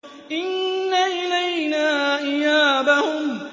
إِنَّ إِلَيْنَا إِيَابَهُمْ